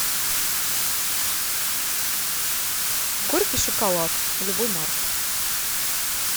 горький шоколад любой марки